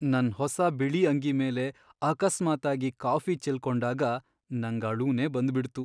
ನನ್ ಹೊಸ ಬಿಳಿ ಅಂಗಿ ಮೇಲೆ ಅಕಸ್ಮಾತ್ತಾಗಿ ಕಾಫಿ ಚೆಲ್ಕೊಂಡಾಗ ನಂಗ್ ಅಳುನೇ ಬಂದ್ಬಿಡ್ತು.